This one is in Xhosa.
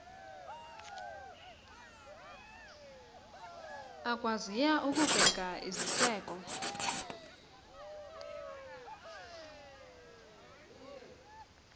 akwaziyo ukubeka iziseko